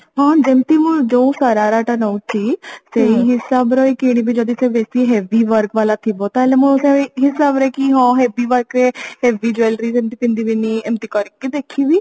ହଁ ଯେମିତି ମୁଁ ଯୋଉ ଶରାରା ଟା ନଉଛି ସେଇ ହିସାବର ହିଁ କିଣିବି ଯଦି ସେ ବେଶୀ heavy work ବାଲା ଥିବ ତାହେଲେ ମୁଁ ହଁ ସେଇ ହିସାବରେ କି ହଁ heavy work ରେ heavy Jewellery ସେମିତି ପିନ୍ଧିବିନି ଏମିତି କରିକି ଦେଖିବି